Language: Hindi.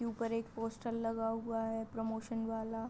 ऊपर एक पोस्टर लगा हुआ है प्रमोशन वाला--